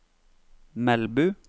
Melbu